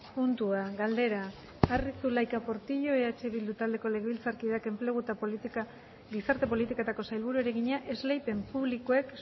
puntua galdera arri zulaika portillo eh bildu taldeko legebiltzarkideak enplegu eta gizarte politiketako sailburuari egina esleipen publikoek